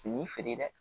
Fini feere dɛ